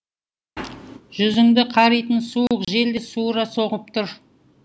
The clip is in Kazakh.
жүзіңді қаритын суық жел де суыра соғып тұр